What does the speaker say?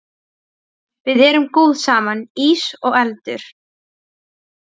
Við erum góð saman, ís og eldur.